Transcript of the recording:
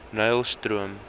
nylstroom